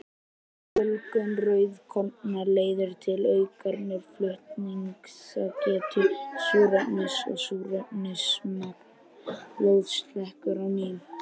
Fjölgun rauðkorna leiðir til aukinnar flutningsgetu súrefnis og súrefnismagn blóðs hækkar á ný.